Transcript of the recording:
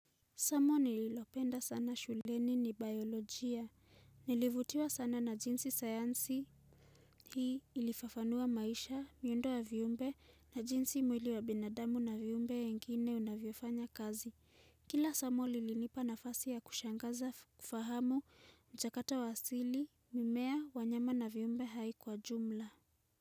Somo nililopenda sana shuleni ni biolojia. Nilivutiwa sana na jinsi sayansi hii ilifafanua maisha, miundo ya viumbe na jinsi mwili wa binadamu na viumbe wengine unavyofanya kazi. Kila somo lilinipa nafasi ya kushangaza fahamu mchakato wa asili, mimea, wanyama na viumbe hai kwa jumla.